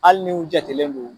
Hali ni u jatelen don